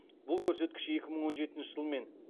бұл көрсеткіш екі мың он жетінші жылмен